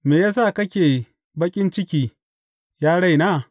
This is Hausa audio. Me ya sa kake baƙin ciki, ya raina?